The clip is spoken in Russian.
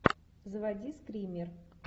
заводи скример